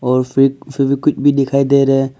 और फ्रिज कुछ भी दिखाई दे रहा है।